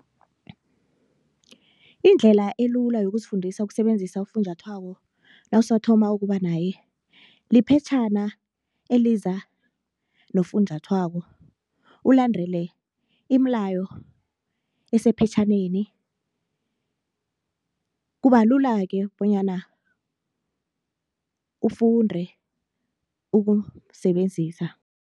Indlela elula yokuzifundisa ukusebenzisa ufunjathwako nawusathoma ukuba naye liphetjhana eliza nofunjathwako ulandele iimlayo esephetjhaneni, kuba lula-ke bonyana ufunde ukumsebenzisa.